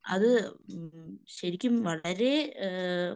അത് മ്മ് ശെരിക്കും വളരെ ഏഹ്